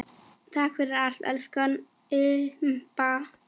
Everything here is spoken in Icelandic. Takk fyrir allt, elsku Imba.